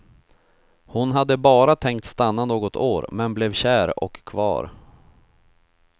Hon hade bara tänkt stanna något år, men blev kär och kvar.